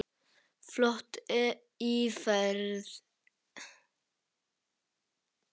Flott íferð.